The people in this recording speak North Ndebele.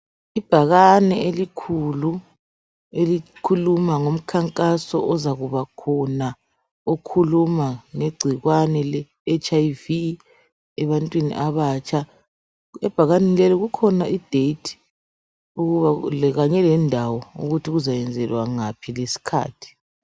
Ibhakane elikhulu elikhuluma ngomkhankaso ozakubakhona okhuluma ngegcikwane le HIV ebantwini abatsha. Ebhakaneni leli kukhona idate, Kanye lendawo ukuthi kuzenzelwa ngaphi, lesikhathi.